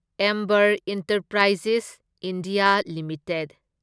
Amber enterprises India limited